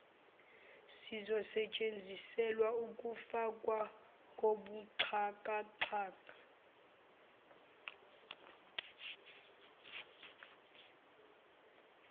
sizosetshenziselwa ukufakwa kobuxhakaxhaka